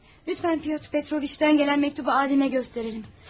Lütfən Pyotr Petroviçdən gələn məktubu ailəmə göstərək.